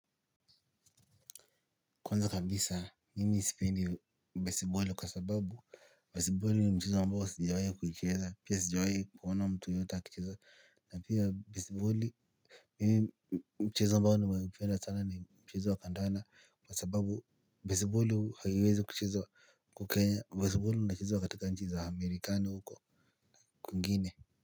Kwanza kabisa, mimi sipendi baseball kwa sababu, baseball ni mchezo ambao sijawai kuicheza, pia sijawai kuona mtu yeyote akicheza, na pia baseball, mimi mchezo ambao nimeipenda sana ni mchezo wa kandanda, kwa sababu baseball haiwezi kuchezwa huku kenya, baseball inachezwa katika nchi za amerikani huko kwingine.